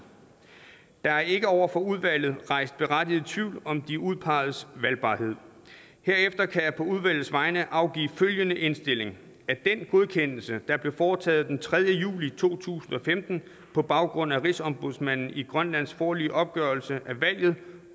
der er ikke over for udvalget rejst berettiget tvivl om de udpegedes valgbarhed herefter kan jeg på udvalgets vegne afgive følgende indstilling den godkendelse der blev foretaget den tredje juli to tusind og femten på baggrund af rigsombudsmanden i grønlands foreløbige opgørelse af valget